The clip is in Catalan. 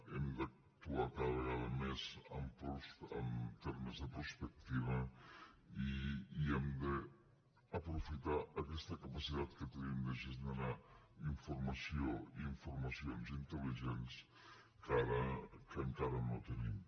hem d’actuar cada vegada més en termes de prospectiva i hem d’aprofitar aquesta capacitat que tenim de gestionar informacions intel·ligents que encara no tenim